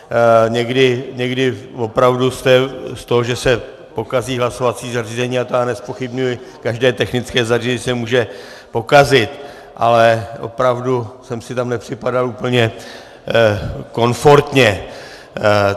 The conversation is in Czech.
Někdy opravdu z toho, že se pokazí hlasovací zařízení, a to já nezpochybňuji, každé technické zařízení se může pokazit, ale opravdu jsem si tam nepřipadal úplně komfortně.